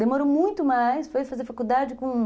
Demorou muito mais, foi fazer faculdade com...